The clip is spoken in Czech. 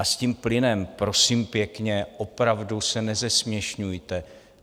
A s tím plynem, prosím pěkně, opravdu se nezesměšňujte.